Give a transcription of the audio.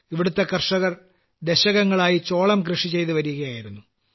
ഇവിടത്തെ കർഷകർ ദശകങ്ങളായി ചോളം മക്ക കൃഷിചെയ്തു വരികയായിരുന്നു